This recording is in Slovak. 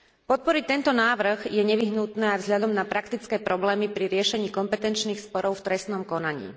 Podporiť tento návrh je nevyhnutné aj vzhľadom na praktické problémy pri riešení kompetenčných sporov v trestnom konaní.